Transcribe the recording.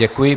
Děkuji.